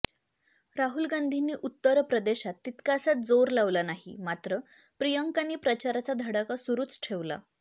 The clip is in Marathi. राहुल गांधींनी उत्तर प्रदेशात तितकासा जोर लावला नाही मात्र प्रियांकांनी प्रचाराचा धडाका सुरूच ठेवला